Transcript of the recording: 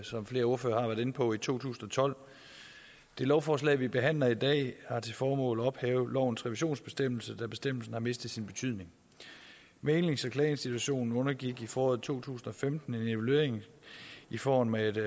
som flere ordførere har været inde på i to tusind og tolv det lovforslag vi behandler i dag har til formål at ophæve lovens revisionsbestemmelse da bestemmelsen har mistet sin betydning mæglings og klageinstitutionen undergik i foråret to tusind og femten en evaluering i form af et